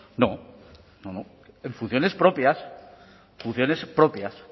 no no no en funciones propias funciones propias